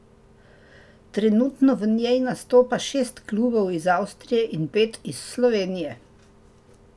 Trenutno v njej nastopa šest klubov iz Avstrije in pet iz Slovenije.